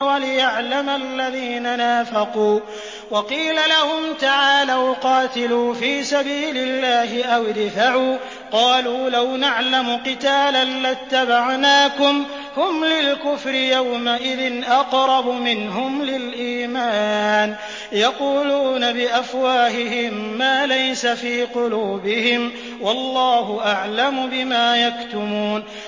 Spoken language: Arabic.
وَلِيَعْلَمَ الَّذِينَ نَافَقُوا ۚ وَقِيلَ لَهُمْ تَعَالَوْا قَاتِلُوا فِي سَبِيلِ اللَّهِ أَوِ ادْفَعُوا ۖ قَالُوا لَوْ نَعْلَمُ قِتَالًا لَّاتَّبَعْنَاكُمْ ۗ هُمْ لِلْكُفْرِ يَوْمَئِذٍ أَقْرَبُ مِنْهُمْ لِلْإِيمَانِ ۚ يَقُولُونَ بِأَفْوَاهِهِم مَّا لَيْسَ فِي قُلُوبِهِمْ ۗ وَاللَّهُ أَعْلَمُ بِمَا يَكْتُمُونَ